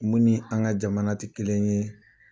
Mun ni an ka jamana tɛ kelen ye